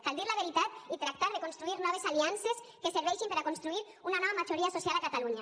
cal dir la veritat i tractar de construir noves aliances que serveixin per a construir una nova majoria social a catalunya